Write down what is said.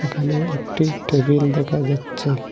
এখানে একটি টেবিল দেখা যাচ্ছে।